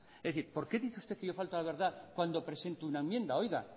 es decir por qué dice usted que yo falto a la verdad cuando presento una enmienda oiga